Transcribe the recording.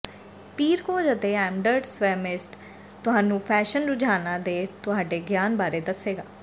ਪੀਰਕੋਜ ਅਤੇ ਐਮਡਰਡ ਸਵੈਮਿਸਤ ਤੁਹਾਨੂੰ ਫੈਸ਼ਨ ਰੁਝਾਨਾਂ ਦੇ ਤੁਹਾਡੇ ਗਿਆਨ ਬਾਰੇ ਦੱਸੇਗਾ